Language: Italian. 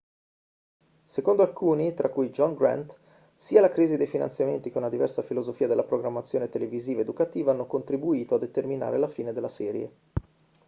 secondo alcuni tra cui john grant sia la crisi dei finanziamenti che una diversa filosofia della programmazione televisiva educativa hanno contribuito a determinare la fine della serie